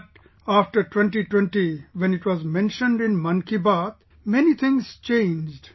But after 2020, when it was mentioned in 'Mann Ki Baat', many things changed